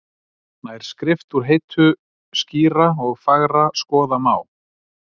Nær skrift úr heitu skýra og fagra skoða má,